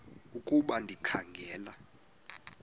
ukuba ndikha ngela